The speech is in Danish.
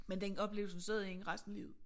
Men den oplevelse sad i hende resten af livet